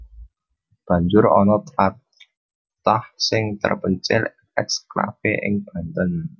Banjur ana tlatah sing terpencil ekslave ing Banten